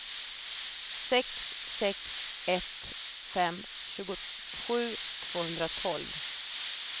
sex sex ett fem tjugosju tvåhundratolv